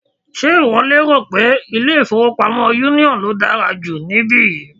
Ṣe ìwọ rò pé ilé-ìfowópamọ́ union ló dára jù níbí yìí?